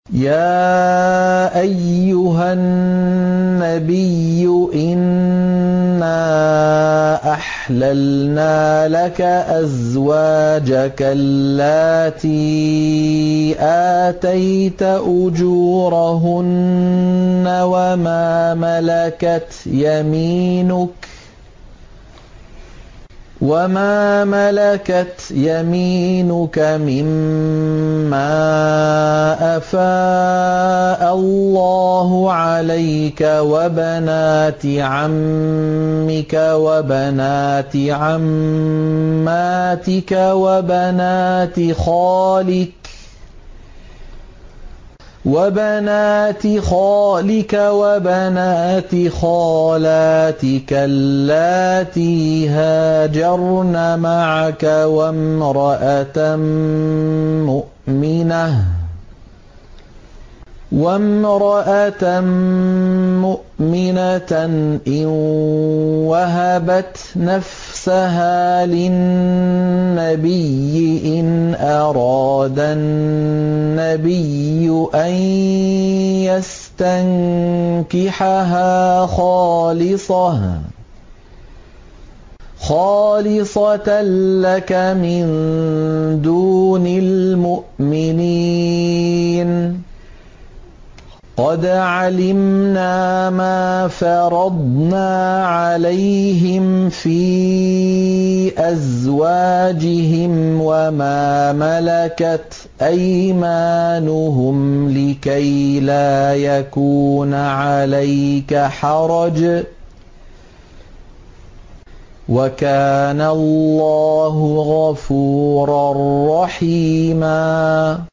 يَا أَيُّهَا النَّبِيُّ إِنَّا أَحْلَلْنَا لَكَ أَزْوَاجَكَ اللَّاتِي آتَيْتَ أُجُورَهُنَّ وَمَا مَلَكَتْ يَمِينُكَ مِمَّا أَفَاءَ اللَّهُ عَلَيْكَ وَبَنَاتِ عَمِّكَ وَبَنَاتِ عَمَّاتِكَ وَبَنَاتِ خَالِكَ وَبَنَاتِ خَالَاتِكَ اللَّاتِي هَاجَرْنَ مَعَكَ وَامْرَأَةً مُّؤْمِنَةً إِن وَهَبَتْ نَفْسَهَا لِلنَّبِيِّ إِنْ أَرَادَ النَّبِيُّ أَن يَسْتَنكِحَهَا خَالِصَةً لَّكَ مِن دُونِ الْمُؤْمِنِينَ ۗ قَدْ عَلِمْنَا مَا فَرَضْنَا عَلَيْهِمْ فِي أَزْوَاجِهِمْ وَمَا مَلَكَتْ أَيْمَانُهُمْ لِكَيْلَا يَكُونَ عَلَيْكَ حَرَجٌ ۗ وَكَانَ اللَّهُ غَفُورًا رَّحِيمًا